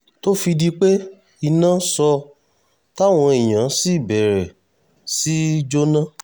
tó fi di pé iná sọ táwọn èèyàn sì bẹ̀rẹ̀ sí í jóná